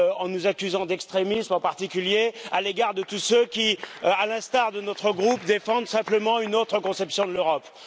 nous accusant d'extrémisme, en particulier à l'égard de tous ceux qui, à l'instar de notre groupe défendent simplement une autre conception de l'Europe.